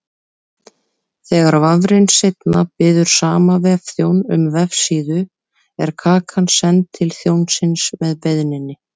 Þegar vafrinn seinna biður sama vefþjón um vefsíðu er kakan send til þjónsins með beiðninni.